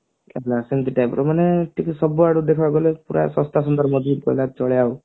ସେମତି type ର ମାନେ ଟିକେ ସବୁଆଡୁ ଦେଖିବାକୁ ଗଲେ ପୁରା ଶସ୍ତା ସୁନ୍ଦର ମଜବୁତ କହିଲେ ଚଳେ ଆଉ